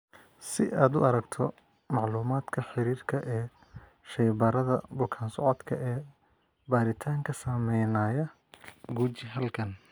Si aad u aragto macluumaadka xiriirka ee shaybaarada bukaan socodka ee baaritaanka samaynaya, guji halkan.